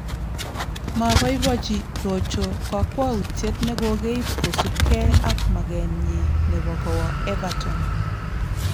Maaboiboichi Rojo kokwautiet ne kokeib kosubge ak maketnyi nebo kowa Everton